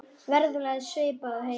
Verðlag er svipað og heima.